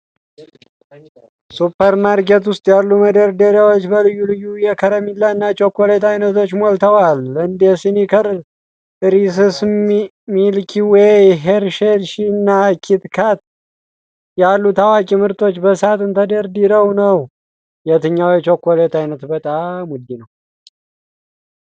ሱፐርማርኬት ውስጥ ያሉ መደርደሪያዎች በልዩ ልዩ የከረሜላና ቸኮሌት ዓይነቶች ሞልተዋል። እንደ ስኒከር፣ ሪስስ፣ ሚልኪ ዌይ፣ ሄርሼይስና ኪት ካት ያሉ ታዋቂ ምርቶች በሳጥን ተደርድረ ነው፡፡ የትኛው የቸኮሌት ዓይነት በጣም ውድ ነው?